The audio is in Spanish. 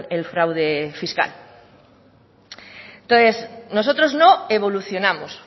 el fraude fiscal entonces nosotros no evolucionamos